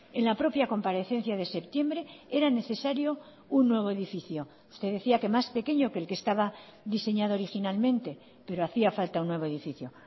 en la propia comparecencia de septiembre era necesario un nuevo edificio usted decía que más pequeño que el que estaba diseñado originalmente pero hacía falta un nuevo edificio